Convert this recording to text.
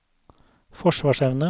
forsvarsevne